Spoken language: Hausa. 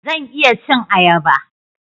Zan iya cin ayaba.